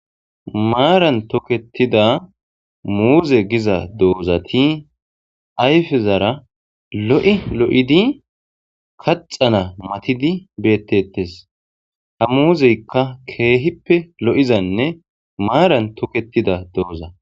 maaran toketida muuze giza doozati ayfezara lo7e lo7idi kaxana matidi beettettes ha muuzeykka keehippe lo7izanne maaran toketida dooza